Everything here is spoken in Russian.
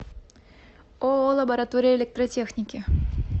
ооо лаборатория электротехники